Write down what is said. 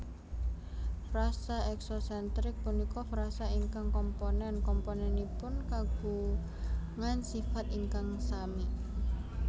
Frasa eksosentrik punika frasa ingkang komponen komponenipun kagungan sifat ingkang sami